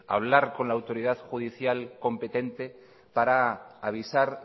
hablar con la autoridad judicial competente para avisar